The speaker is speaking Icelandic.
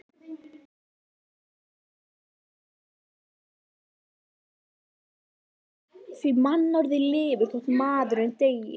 Því mannorðið lifir þótt maðurinn deyi.